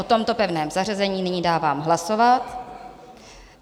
O tomto pevném zařazení nyní dávám hlasovat.